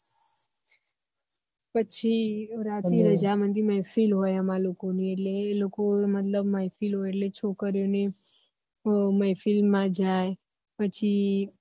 પછી રાતે રજામંદી મેહફીલ હોય અમારે લોકો ને એટલે એ લોકો મતલબ મેહફીલ હોય એટલે છોકરી ઓ ની મેહફીલ માં જ જાયે પછી